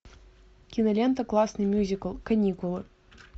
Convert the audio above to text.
кинолента классный мюзикл каникулы